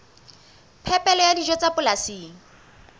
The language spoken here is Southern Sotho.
phepelo ya dijo tsa polasing